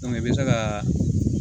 i bɛ se ka